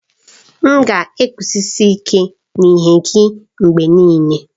M ga-eguzosi ike n'ihe nye gị mgbe niile.